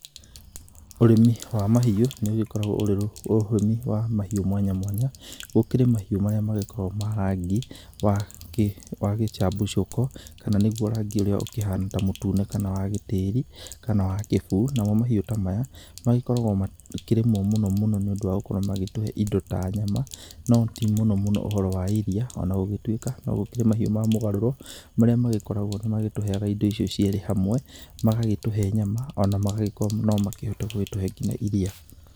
Ũrĩmi wa mahiũ nĩ ũgĩkoragwo ũrĩ ũrĩmi wa mahiũ mwanya mwanya, gũkĩrĩ mahiũ marĩa magĩkoragwo ma rangi wa gĩcabicũko kana nĩguo rangi ũrĩa ũkĩhana ta mũtune kana wa gĩtĩri kana wa gĩbuu. Namo mahiũ ta maya makoragwo magĩkĩrĩmwo mũno mũno nĩ ũndũ wa gũkorwo magĩtũhe indo ta nyama no ti mũno mũno ũhoro wa iria. Ona gũgĩtuĩka no gũkĩrĩ mahiũ ma mũgarũro marĩa magĩkoragwo nĩ matũheaga indo icio cierĩ hamwe, magagĩtũhe nyama ona magakorwo no mahote gũtũhe nginya iria.